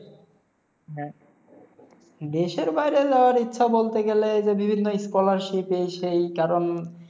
দেশের বাইরে যাওয়ার ইচ্ছা বলতে গেলে এই যে বিভিন্ন scholarship এই সেই কারণ